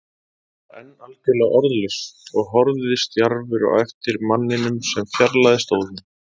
Ég var enn algjörlega orðlaus og horfði stjarfur á eftir manninum sem fjarlægðist óðum.